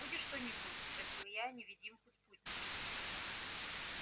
будешь что-нибудь спросил я невидимую спутницу